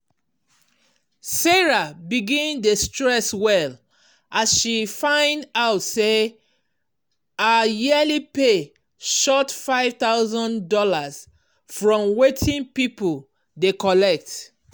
sarah begin dey stress well as she find out say her yearly pay short five thousand dollars from wetin people dey collect.